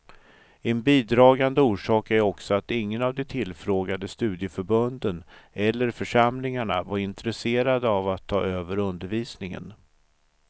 En bidragande orsak är också att ingen av de tillfrågade studieförbunden eller församlingarna var intresserade av att ta över undervisningen.